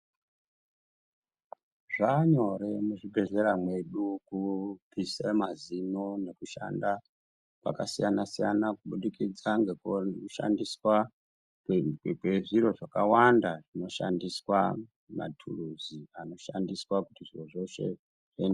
Zvanyore muzvibhedhlera medu kubvisa mazino nekushanda kwakasiyana siyana kubudikidza ngekushandiswa kwezviro zvakawanda zvinoshandiswa matiruzi anoshandiswa kuti zviro zveshe zve.